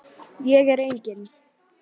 Ég er engin.